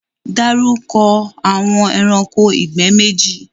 Darúkọ̀ awọn ẹ̀ránkò igbẹ̀ méjì!